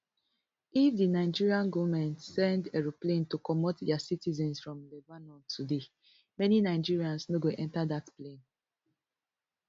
if di nigerian goment send aeroplane to comot dia citizens from lebanon today many nigerians no go enta dat plane